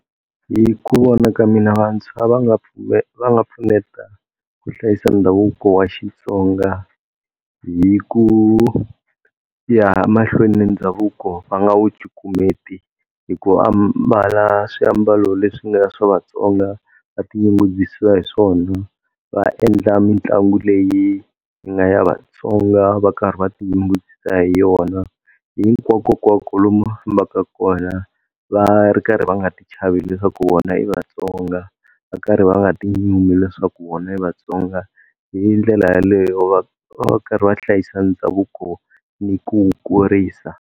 Hi ku vona ka mina vantshwa va nga va nga pfuneta ku hlayisa ndhavuko wa Xitsonga hi ku ya mahlweni ni ndhavuko va nga wu cukumeta hi ku ambala swiambalo leswi nga swa Vatsonga va tinyungubyisa hi swona, va endla mitlangu leyi nga ya Vatsonga va karhi va tinyungubyisa hi yona. Hinkwakokwako lomu va fambaku kona va ri karhi va nga ti chavi leswaku vona i Vatsonga va karhi va nga tinyumi leswaku vona i Vatsonga hindlela yeleyo va va karhi va hlayisa ndhavuko ni ku wu kurisa.